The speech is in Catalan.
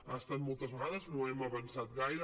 ha estat moltes vegades no hem avançat gaire